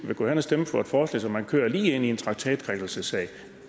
vil gå hen og stemme for et forslag så man kører lige ind i en traktatkrænkelsessag